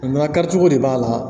Na kɛra cogo de b'a la